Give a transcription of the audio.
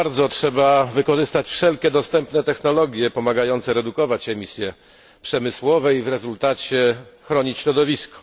Trzeba wykorzystać wszelkie dostępne technologie pomagające redukować emisje przemysłowe i w rezultacie chronić środowisko.